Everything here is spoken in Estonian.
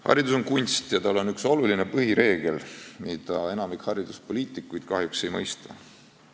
Haridus on kunst ja tal on üks oluline põhireegel, mida enamik hariduspoliitikuid kahjuks ei mõista.